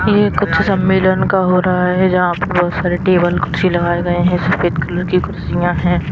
ये कुछ सम्मेलन का हो रहा है जहां पर बहुत सारे टेबल कुर्सी लगाए गए हैं सफेद कलर की कुर्सियां हैं।